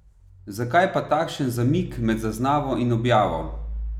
Zakaj pa takšen zamik med zaznavo in objavo?